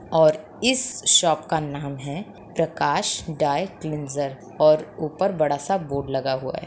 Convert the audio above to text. और इस शॉप का नाम है प्रकाश ड्राई क्लीन्ज़र और ऊपर बड़ा-सा बोर्ड लगा हुआ है।